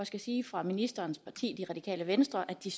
skal sige fra ministerens parti det radikale venstre at de